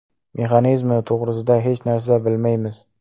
Mexanizmi to‘g‘risida hech narsa bilmaymiz.